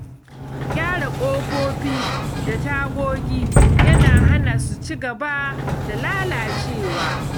Gyara ƙofofi da tagogi yana hana su ci gaba da lalacewa.